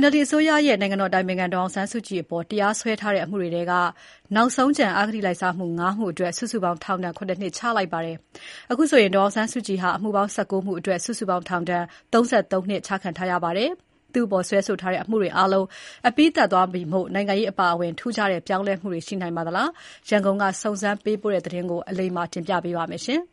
NLD အစိုးရရဲ့ နိုင်ငံတော်အတိုင်ပင်ခံ ဒေါ်အောင်ဆန်းစုကြည်အပေါ် တရားစွဲထားတဲ့ အမှုတွေထဲက နောက်ဆုံးကျန် ၅ မှုအတွက် စုစုပေါင်း ထောင်ဒဏ် ၇ နှစ်ချလိုက်ပါတယ်။ အခုဆိုရင်ဒေါ်အောင်ဆန်းစုကြည်ဟာ အမှုပေါင်း ၁၉ မှုအတွက် စုစုပေါင်း ထောင်ဒဏ် ၃၃ နှစ် ချခံထားရပါတယ်။ သူ့အပေါ် စွဲဆိုထားတဲ့ အမှုတွေအားလုံးအပြီးသတ်သွားပြီမို့ နိုင်ငံရေးအပါအဝင် ထူးခြား ပြောင်းလဲမှုတွေ ရှိလာနိုင်ပါသလား၊ ရန်ကုန်ကစုံစမ်းပေးပို့တဲ့ သတင်းကို အလိမ္မာက တင်ပြပါမယ်။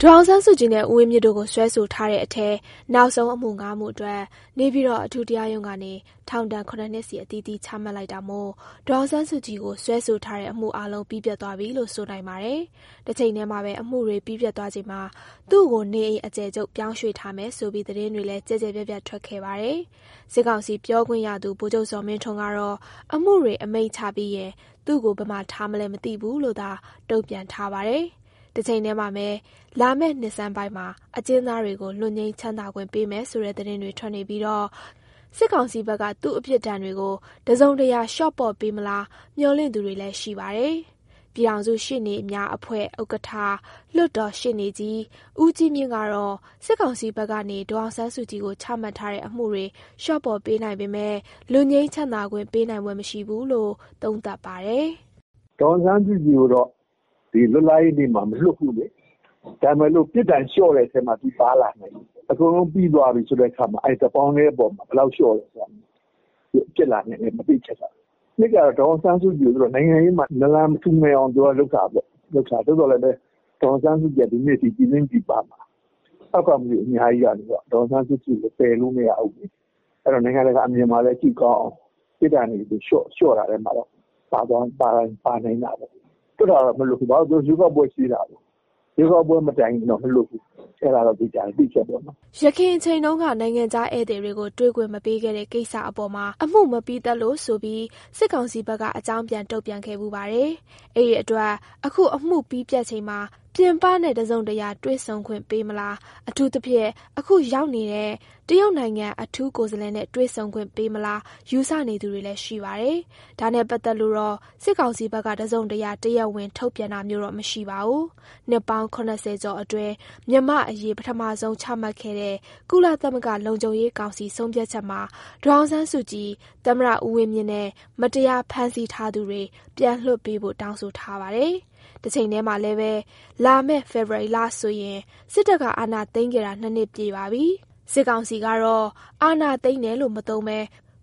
ဒေါ်အောင်ဆန်းစုကြည်နဲ့ ဦးဝင်းမြင့်တို့ကို စွဲဆိုထားတဲ့အထဲ နောက်ဆုံးအမှုငါးမှုအတွက် နေပြည်တော်အထူးတရားရုံးကနေ ထောင်ဒဏ် ၇နှစ်စီ အသီးသီးအမိန့်ချမှတ်လိုက်တာမို့၊ ဒေါ်အောင်ဆန်းစုကြည်ကို စွဲဆိုထားတဲ့အမှုအားလုံး ပြီးပြတ်သွားပြီလို့ ဆိုနိုင်ပါတယ်။ တချိန်တည်းမှာပဲ အမှုတွေပြီးပြတ်သွားချိန်မှာ သူကို နေအိမ်အကျယ်ချုပ်ပြောင်းရွေ့ထားမယ်ဆိုပြီး သတင်းတွေလည်း ကျယ်ကျယ်ပြန့်ပြန့်ထွက်ခဲ့ပါတယ်။ စစ်ကောင်စီပြောခွင့်ရသူ ဗိုလ်ချုပ်ဇော်မင်းထွန်းကတော့ အမှုတွေအမိန့်ချပြီးရင် သူကို ဘယ်မှာထားမလဲ မသိဘူးလို့သာ တုန့်ပြန်ထားပါတယ်။ တချိန်တည်းမှာပဲ လာမယ့်နှစ်ဆန်းပိုင်းမှာ အကျဉ်းသားတွေကိုလွတ်ငြိမ်းချမ်းသာခွင့်ပေးမယ်ဆိုတဲ့သတင်းတွေထွက်နေတော့၊ စစ်ကောင်စီဖက်က သူပြစ်ဒဏ်တွေကို တစုံတရာလျှော့ပေါ့ပေးမလား မျှော်လင့်သူတွေလည်းရှိပါတယ်။ ပြည်ထောင်စုရှေ့နေများအဖွဲ့ဥက္ကဋ္ဌ လွှတ်တော် ရှေ့နေ ကြီး ဦးကြီးမြင့်ကတော့ စစ်ကောင်စီဖက်ကနေ ဒေါ်အောင်ဆန်းစုကြည်ကို ချမှတ်ထားတဲ့ အမှုတွေလျော့ပေါ့ပေးနိုင်ပေမယ့်၊ လွတ်ငြိမ်းချမ်းသာခွင့် ပေးနိုင်ဖွယ်မရှိဘူးလို့သုံးသပ်ပါတယ်။ "ဒေါ်အောင်ဆန်းစုကြည်ကိုတော့လွတ်လပ်ရေးနေ့မှာမလွတ်ဘူး၊ဒါပေမယ့် ပြစ်ဒဏ်လျော့တဲ့ထဲပါလာနိုင်တယ်။ အကုန်လုံးပြီးသွားပြီဆိုတော့ တပေါင်းထဲပေါ်မှာ ဘယ်လောက်လျော့တယ်ဆိုတာမျိုးပေါ့. ဖြစ်လာနိုင်တယ်။ နောက် ဒေါ်အောင်ဆန်းစုကြည်ကို နိုင်ငံရေးမှာ နလန်မထူနိုင်အောင် လုပ်တာဘဲ၊ ဒါပေမယ့် ဒေါ်အောင်ဆန်းစုကြည်က ပြည်တွင်းပြည်ပမှာခုချိန်ထိ ထောက်ခံမှုအများကြီးရနေဆဲပါ သူ့ကို ပယ်လို့ကိုမရသေးဘူး။ အဲတော့နိုင်ငံတကာမှာ ကြည့်ကောင်းအောင် ပြစ်ဒဏ်လျှော့တဲ့အထဲပါကောင်းပါလာနိုင်တာပေါ့။ လွှတ်တာတော့မလွှတ်ဘူး ရွေးကောက်ပွဲရှိသေးတာကို အဲဒ့ါတော့သေချာတယ် မလွှတ်ပေးဘူး။" ယခင်အချိန်တုန်းက နိုင်ငံခြားဧည်သည်တွေနဲ့ တွေ့ခွင့်မပေးခဲ့တဲ့ကိစ္စအပေါ်မှာ အမှုမပြီးသတ်လို့ဆိုပြီး စစ်ကောင်စီဖက်က အကြောင်းပြန်တုန့်ပြန်ခဲ့ဖူးပါတယ်။ အဲဒီအတွက် အခုအမှုပြီးပြတ်ချိန်မှာ ပြင်ပနဲ့ တစုံတရာတွေ့ဆုံခွင့်ပေးမလား၊ အထူးသဖြင့် အခု ရောက်နေတဲ့ တရုတ်နိုင်ငံအထူးကိုယ်စားလှယ်နဲ့ တွေ့ဆုံခွင့်ပေးမလား ယူဆနေသူတွေလည်းရှိပါတယ်။ ဒါနဲ့ပတ်သက်လို့တော့ စစ်ကောင်စီဖက်က တစုံတရာ တရားဝင်ထုတ်ပြောတာမျိုးတော့မရှိပါဘူး။ နှစ်ပေါင်း ၇၀ ကျော်အတွင်း မြန်မာ့အရေး ပထမဆုံး ချမှတ်ခဲ့တဲ့ ကုလသမဂ္ဂလုံခြုံရေးကောင်စီ ဆုံးဖြတ်ချက်မှာ ဒေါ်အောင်ဆန်းစုကြည်၊ သမ္မတ ဦးဝင်းမြင့်နဲ့ မတရားဖမ်းဆီးထားသူတွေ ပြန်လွှတ်ပေးဖို့ တောင်းဆိုထားပါတယ်။ တချိန်တည်းမှာလည်းပဲ လာမယ့်ဖေဖော်ဝါရီလဆို စစ်တပ်က အာဏာသိမ်းခဲ့တာ နှစ်နှစ်ပြည့်ပါပြီ။ စစ်ကောင်စီကတော့ အာဏာသိမ်းတယ်လို့ မသုံးပဲ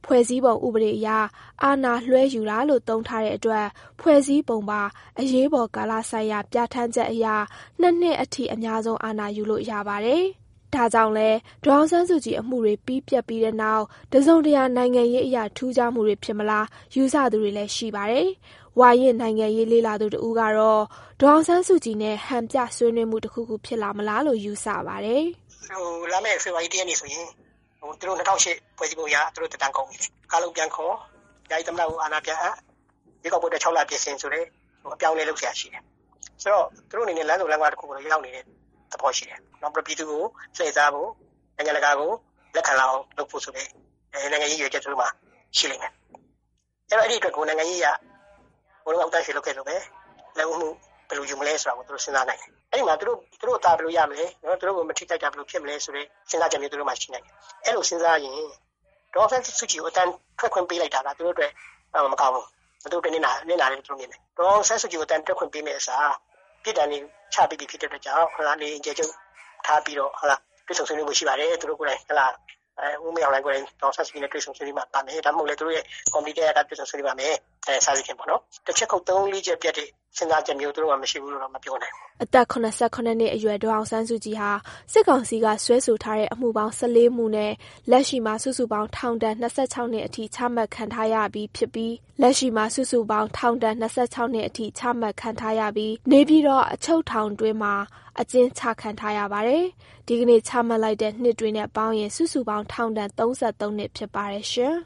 ဖွဲ့စည်းပုံဥပဒေအရ အာဏာလွှဲယူတာလို့ သုံးထားတဲ့အတွက်၊ ဖွဲ့စည်းပုံပါ အရေးပေါ်ကာလဆိုင်ရာပြဌာန်းချက်အရ နှစ်နှစ်အထိ အများဆုံး အာဏာယူလို့ရပါတယ်။ ဒါကြောင့်လည်း ဒေါ်အောင်ဆန်းစုကြည်အမှုတွေပြတ်ပြီးတဲ့နောက်၊ တစုံတရာ နိုင်ငံရေးအရ ထူးခြားမှုတွေဖြစ်လာမလား ယူဆသူတွေလည်းရှိပါတယ်။ ဝါရင့်နိုင်ငံရေးလေ့လာသူတဦးကတော့ ဒေါ်အောင်ဆန်းစုကြည်နဲ့ ဟန်ပြဆွေးနွေးမှုတခုခုဖြစ်လာမလားလို့ ယူဆပါတယ်။ "လာမယ့် ဖေဖော်ဝါရီ ၁ရက်နေ့ဆို သူတို့ ၂၀၀၈ဖွဲ့စည်းပုံအရ သူတို့သက်တမ်းကုန်ပြီ။ ကုန်တော့ ကာလုံပြန်ခေါ် ယာယီသမ္မတကို အာဏာပြန်အပ် ရွေးကောက်ပွဲအတွက်ပြင်ဆင်ဆိုတဲ့ အပြောင်းအလဲလုပ် စရာရှိတယ် သူတို့တွေအနေနဲ့ လမ်းဆုံလမ်းခွကိုရောက်နေတယ်။ ပြည်သူကိုလှည့်စားဖို့ နိုင်ငံတကာကို လက်ခံလာအောင်လုပ်ဖို့အတွက် နိုင်ငံရေးရည်ရွယ်ချက်သူတို့မှာရှိလိမ့်မယ်။ အဲံဒီအတွက် ဟိုတုန်းက ဦးသန်းရွှေလက်ထက်လိုဘဲ လက်ဦးမှုဘယ်လိုယူမလဲစဉ်းစားနိုင်တယ်။ သူတို့အသာဘယ်လိုရမလဲ သူတို့ကိုဘယ်လိုမထိခိုက်မလဲဆိုတဲ့စဉ်းစားချက်ရှိနိုင်တယ်။ အဲလိုစဉ်းစားရင်ဒေါ်အောင်ဆန်းစုကြည်ကို အသံထွက်ခွင့်ပေးလိုက်တာက သူတို့အတွက်မကောင်းဘူးနစ်နာမယ်လို့စဉ်းစားနိုင်တယ်။ ဒေါ်အောင်ဆန်းစုကြည်ကိုအသံထွက်ခွင့်ပေးမယ့်အစား နေအိမ်အကျယ်ချုပ်ထားပြီးတော့ တွေ့ဆုံဆွေး နွေးမှုရှိပါမယ်။ သူတို့ကိုယ်တိုင် ဦးမင်းအောင်လှိုင်ကိုယ်တိုင်တွေ့ဆုံဆွေးနွေးပါမယ် ဒါမှမဟုတ်လဲ ကော်မတီတရပ်ရပ်က တွေ့ဆုံဆွေးနွေးပါမယ်။ တချက်ခုတ် ၃၊ ၄ ချက်ပြတ်မယ့် စဉ်းစားချက်မျိုးသူတို့ မှာမရှိဘူးမပြောနိုင်ဘူး" အသက် ၇၇ နှစ်အရွယ် ဒေါ်အောင်ဆန်းစုကြည်ဟာ စစ်ကောင်စီက စွဲဆိုထားတဲ့အမှုပေါင်း ၁၄ မှုနဲ့ လက်ရှိမှာ စုစုပေါင်း ထောင်ဒဏ် ၂၆ နှစ်အထိ ချမှတ်ခံရထားပြီးဖြစ်ပြီး နေပြည်တော်အချုပ်ထောင်တွင်းမှာ အကျဉ်းချခံထားရပါတယ်။ ဒီကနေ့ချမှတ်လိုက်တဲ့ နှစ်တွေနဲ့ပေါင်းရင် စုစုပေါင်း ထောင်ဒဏ် ၃၃ နှစ်ဖြစ်ပါတယ်ရှင်။